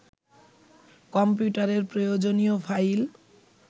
কম্পিউটারের প্রয়োজনীয় ফাইল